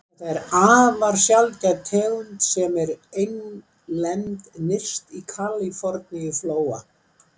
Þetta er afar sjaldgæf tegund sem er einlend nyrst í Kaliforníuflóa.